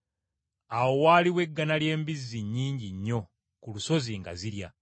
Awo waaliwo eggana ly’embizzi nnyingi nnyo ku lusozi nga zirya.